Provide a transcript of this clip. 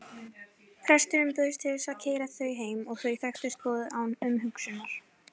Presturinn bauðst til að keyra þau heim og þau þekktust boðið án umhugsunar.